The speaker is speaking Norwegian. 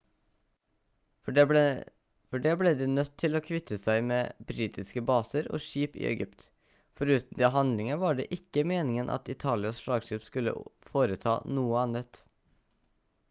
for det ble de nødt til å kvitte seg med britiske baser og skip i egypt foruten de handlingene var det ikke meningen at italias slagskip skulle foreta noe annet